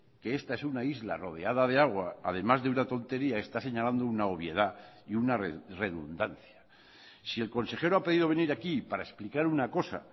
que esta es una isla rodeada de agua además de una tontería está señalando una obviedad y una redundancia si el consejero ha pedido venir aquí para explicar una cosa